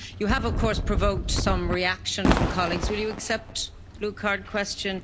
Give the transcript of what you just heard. You have, of course, provoked some reaction from colleagues. Will you accept a blue card question?